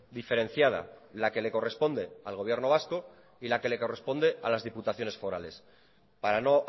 diferenciada la que le corresponde al gobierno vasco y la que le corresponde a las diputaciones forales para no